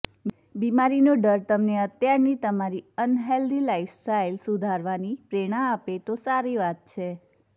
બીમારીનો ડર તમને અત્યારની તમારી અનહેલ્ધી લાઈફસ્ટાઈલ સુધારવાની પ્રેરણા આપે તો સારી વાત છે